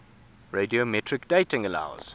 radiometric dating allows